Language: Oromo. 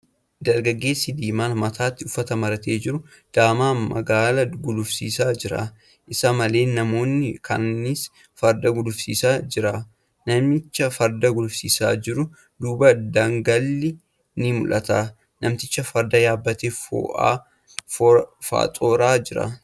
Dargaggeessi diimaan mataatti uffata maratee jiru daamaa magaala gulufsiisaa jira . Isa malee namoonni kaanis farda gulufsiisaa jira .Namicha farda gulufsiisaa jiru duuba daggalli ni mul'ata. Namtichi farda yaabbatee foo'aan faxooree jira.